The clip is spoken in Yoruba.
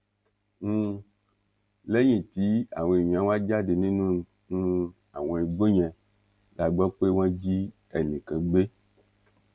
um lẹyìn tí àwọn èèyàn wá jáde nínú um àwọn igbó yẹn la gbọ pé wọn jí ẹnì kan gbé